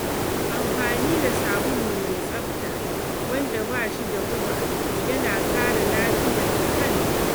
Amfani da sabulu mai tsafta wanda ba shi da guba yana kare lafiyar muhalli.